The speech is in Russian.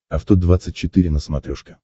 авто двадцать четыре на смотрешке